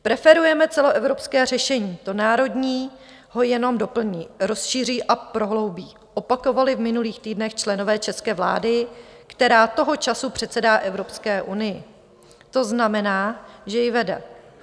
Preferujeme celoevropské řešení, to národní ho jenom doplní, rozšíří a prohloubí - opakovali v minulých týdnech členové české vlády, která toho času předsedá Evropské unii, to znamená, že ji vede.